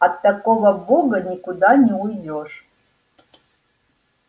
от такого бога никуда не уйдёшь